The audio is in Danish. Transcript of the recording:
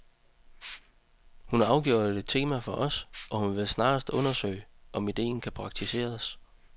Hun er afgjort et tema for os, og vi vil snarest undersøge, om idéen kan praktiseres.